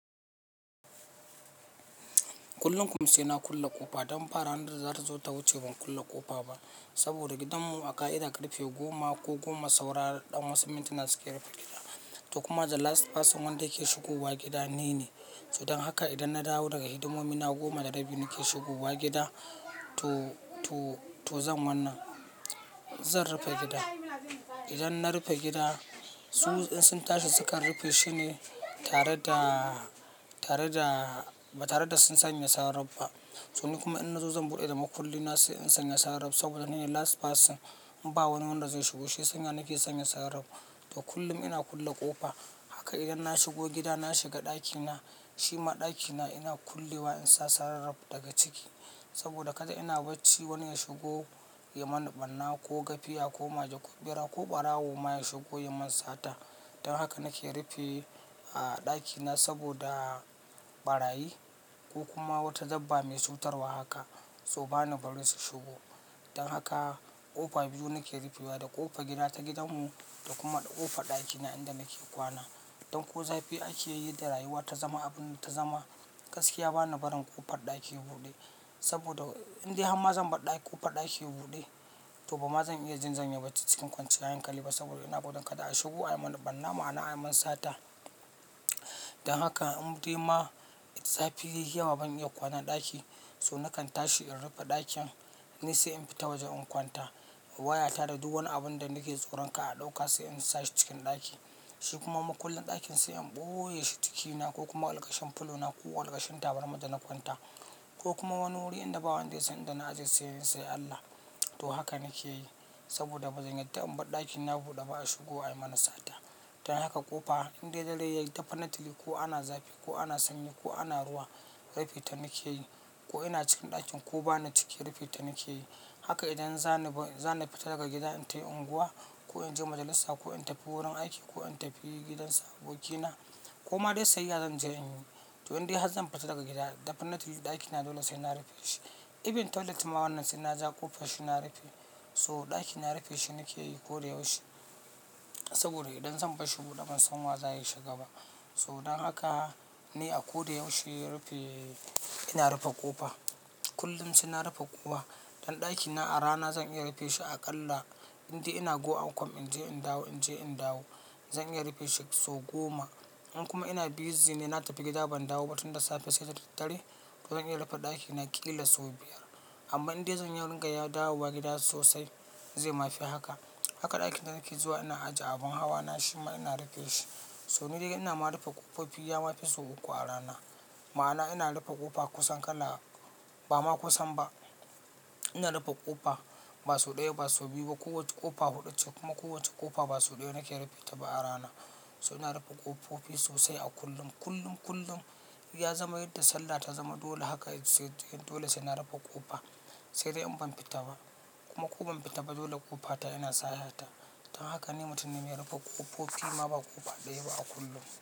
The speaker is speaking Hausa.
Kullum kuma sai na kulle ƙofa don fa ranan da za ta zo ta wuce ban kulle ƙofa ba. Saboda gidanmu a ƙa'ida karfe goma ko kuma saura ɗan wasu mintina suke rufe gida. To kuma the last person wanda yake shigowa gida ni ne. To don haka idan na dawo daga hidimomi na goma da rabi nake shigowa gida to, to, to zan wannan, zan rufe gida. Idan na rufe gida su in sun tashi sukan rufe shine tare da, tare da, ba tare da sun sanya sarraf ba. So ni kuma in na zo zan buɗe da makulli nasai in sanya sarraf saboda ni ne last person. Ba wani wanda zai shigo shi sanya nake sanya sarraf. To kullum ina kulle ƙofa. Haka idan na shigo gida na shiga ɗakina, shima ɗakina ina kullewa in sa sarraf daga ciki. Saboda kada ina bacci wani ya shigo ya mana ɓarna ko gafiya ko maja ko ɓera ko ɓarawo ma ya shigo ya mun sata. Don haka nake rufe a ɗakina saboda ɓarayi ko kuma wata dabba mai cutarwa haka so bani bari su shigo. Don haka ƙofa biyu nake rufewa da ƙofar gida ta gidanmu da kuma ƙofar ɗakina inda nake kwana. Don ko zafi ake yi da rayuwa ta zama abun ta zama gaskiya bani barin ƙofar ɗaki buɗe. Saboda indai har ma zan bar ƙofar ɗaki buɗe to ban ma zan iya jin zanyi bacci cikin kwanciyar hankali ba saboda ina buɗin kada a shigo ayi mana ɓarna mu ana ayi mun sata. Don haka in dai ma zafi yayi yamma ban iya kwana ɗaki so nakan tashi in rufe ɗakin ni sai in fita wajen in kwanta. Wayata da duk wani abun da nake tsoron kar a ɗauka sai in sa shi cikin ɗaki. Shi kuma mukullin ɗakin sai in ɓoye shi cikina ko kuma alkashen fulona ko alkashen tabarma dana kwanta ko kuma wani wuri inda ba wanda ya san inda na ajiye sai Allah. To haka nake yi saboda bazan yada in bar ɗakina buɗe ba a shigo ayi mana sata. Don haka ƙofa indai dare yayi dafa na tike ko ana zafi ko ana sanyi ko ana ruwa rufinta nake yi. Ko ina cikin ɗakin ko bani cike rufinta nake yi. Haka idan zani ba, zan fita daga gida in tafi unguwa ko in je majalisa ko in tafi wurin aiki ko in tafi gidan sabobkina ko ma dai sai iya zan je in yi. To indai har zan fita daga gida dafa na tafi ɗakina dole sai na rufe shi. Even toilet ma wannan sai na ja kofan shi na rufe. So ɗakina rufe shi nake yi ko da yaushe. Saboda idan zan bashi buɗe ban san wa zai shiga ba. So don haka ne a ko da yaushe rufe ina rufe ƙofa. Kullum sai na rufe ƙofa. Don ɗakina a rana zan iya rufe shi aƙalla indai ina go and com in je in dawo in je in dawo zan iya rufe shi sau goma. In kuma ina busy ne na tafi gida ban dawo ba tun da safe sai dare to zan iya rufe ɗakina ƙila sau biyar. Amma inde zan iya dinga dawowa gida sosai, zai ma fi haka. Haka ɗakin da nake zuwa ina ajiye abin hawa na shima ina rufe shi. So ni dai ina ma rufe ƙofofi ya mafi sau uku a rana. Ma'ana ina rufe ƙofa kusan kala, ba ma kusan ba. Ina rufe ƙofa ba sau ɗaya ba sau biyu ba. Kowacce ƙofa huɗu ce kuma kowacce ƙofa ba sau ɗaya nake rufinta ba a rana. So ina rufe ƙofofi sosai a kullum. Kullum, kullum ya zama yadda sallah ta zama dole haka sai dole sai na rufe ƙofa sai dai in ban fita ba. Kuma ko ban fita ba dole ƙofata ina sayata. Don haka ne mutumin ya rufe ƙofofi ma ba ƙofa ɗaya ba a kullum.